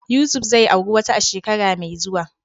Yusuf zai auri wata a shekara mai zuwa.